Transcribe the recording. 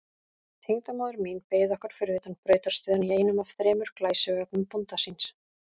Tengdamóðir mín beið okkar fyrir utan brautarstöðina í einum af þremur glæsivögnum bónda síns.